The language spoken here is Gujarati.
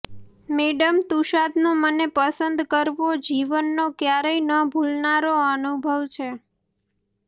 મેડમ તુસાદનો મને પસંદ કરવો જીવનનો ક્યારેય ન ભૂલનારો અનુભવ છે